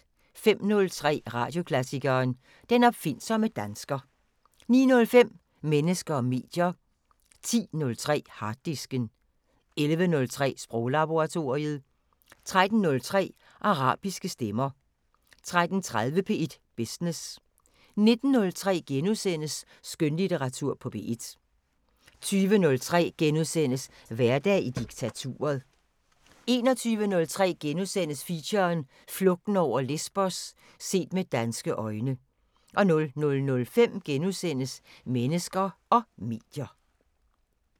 05:03: Radioklassikeren: Den opfindsomme dansker 09:05: Mennesker og medier 10:03: Harddisken 11:03: Sproglaboratoriet 13:03: Arabiske stemmer 13:30: P1 Business 19:03: Skønlitteratur på P1 * 20:03: Hverdag i diktaturet * 21:03: Feature: Flugten over Lesbos – set med danske øjne * 00:05: Mennesker og medier *